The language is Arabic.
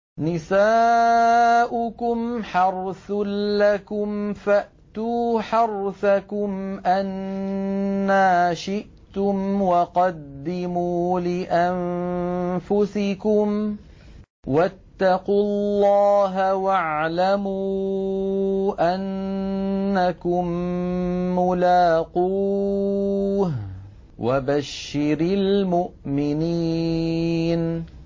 نِسَاؤُكُمْ حَرْثٌ لَّكُمْ فَأْتُوا حَرْثَكُمْ أَنَّىٰ شِئْتُمْ ۖ وَقَدِّمُوا لِأَنفُسِكُمْ ۚ وَاتَّقُوا اللَّهَ وَاعْلَمُوا أَنَّكُم مُّلَاقُوهُ ۗ وَبَشِّرِ الْمُؤْمِنِينَ